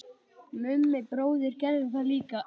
Mummi bróðir gerði það líka.